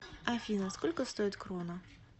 афина сколько стоит крона